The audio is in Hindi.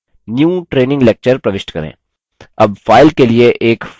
अब file के लिए एक format चुनें